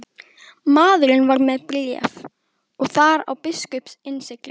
Maðurinn var með bréf og þar á biskups innsigli.